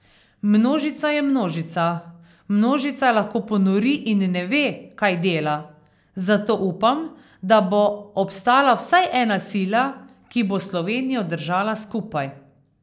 Množica je množica, množica lahko ponori in ne ve, kaj dela, zato upam, da bo obstala vsaj ena sila, ki bo Slovenijo držala skupaj.